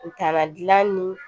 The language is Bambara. U tana dila ni